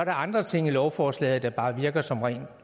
andre ting i lovforslaget der bare virker som ren